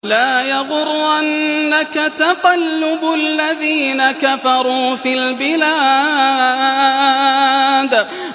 لَا يَغُرَّنَّكَ تَقَلُّبُ الَّذِينَ كَفَرُوا فِي الْبِلَادِ